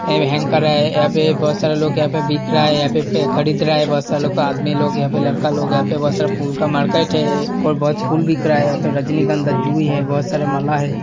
ये हेंकर है। यहाँ पे बहुत सारा लोग यहाँ पे बिक रहा है। यहाँ पे खरीद रहा है बहुत सारा लोग अ आदमी लोग यहाँ पे लड़का लोग है यहाँ पे बहुत सारा फूल का मार्केट है और बहुत फूल बिक रहा है यहाँ पे रजनीगंधा जुई है बहुत सारा माला है।